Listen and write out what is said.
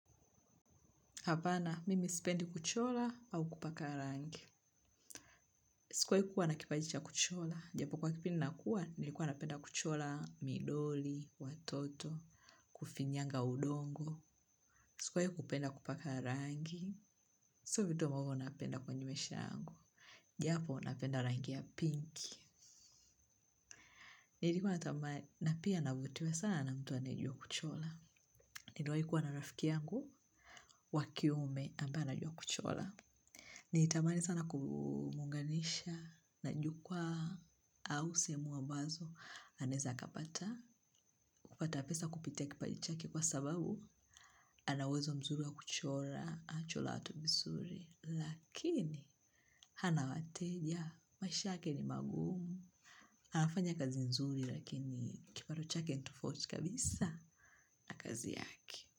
Hapana, mimi sipendi kuchora au kupaka rangi. Sikuwi kuwa na kipaji cha kuchola. Japo kuwa kipindi nakuwa, nilikuwa napenda kuchola midoli, watoto, kufinyanga udongo. Sikoe kupenda kupaka rangi. Sio vitu ambavo napenda kwenye maisha yangu. Japo napenda rangi ya pink. Nilikuwa na pia navutiwa sana na mtu anaejua kuchola. Niliwai kuwa na rafiki yangu, wa kiume ambaye anajua kuchola. Nili tamani sana kumunganisha na jukwa au sehemu ambazo. Anaeza kapata, kupata pesa kupitia kipaji chake kwa sababu ana uwezo mzuri wa kuchora, anachora watu vizuri. Lakini, hana wateja, maisha yake ni magumu. Anafanya kazi nzuri lakini kipato chake ni tufauti kabisa na kazi yake.